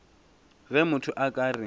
ge motho a ka re